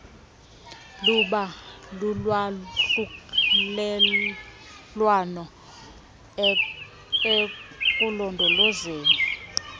luba lulwahlulelwano ekulondolozeni